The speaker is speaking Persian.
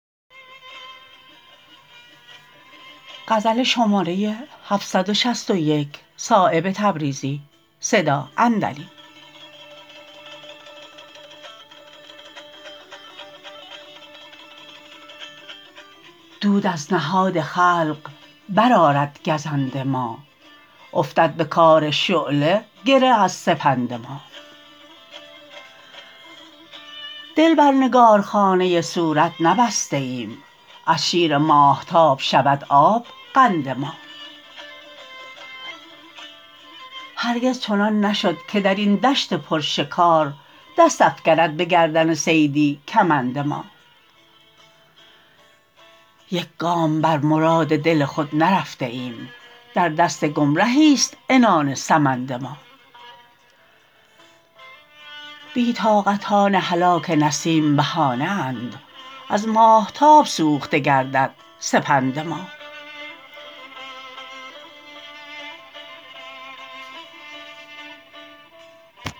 دود از نهاد خلق برآرد گزند ما افتد به کار شعله گره از سپند ما دل بر نگارخانه صورت نبسته ایم از شیر ماهتاب شود آب قند ما هرگز چنان نشد که درین دشت پر شکار دست افکند به گردن صیدی کمند ما یک گام بر مراد دل خود نرفته ایم در دست گمرهی است عنان سمند ما بی طاقتان هلاک نسیم بهانه اند از ماهتاب سوخته گردد سپند ما